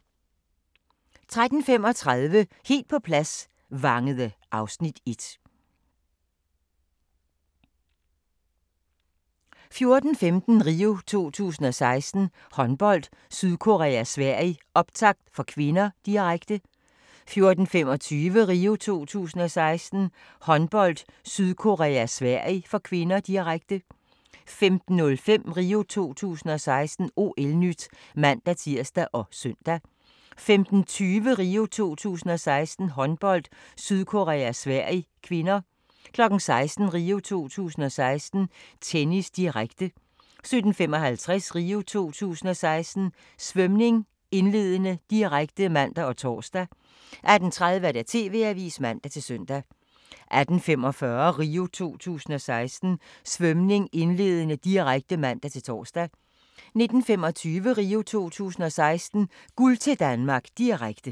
13:35: Helt på plads – Vangede (Afs. 1) 14:15: RIO 2016: Håndbold - Sydkorea-Sverige, optakt, (k), direkte 14:25: RIO 2016: Håndbold - Sydkorea-Sverige (k), direkte 15:05: RIO 2016: OL-NYT (man-tir og søn) 15:20: RIO 2016: Håndbold - Sydkorea-Sverige (k) 16:00: RIO 2016: Tennis, direkte 17:55: RIO 2016: Svømning, indledende, direkte (man og tor) 18:30: TV-avisen (man-søn) 18:45: RIO 2016: Svømning, indledende, direkte (man-tor) 19:25: RIO 2016: Guld til Danmark, direkte